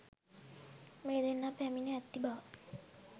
මේ දෙන්නා පැමිණ ඇති බව.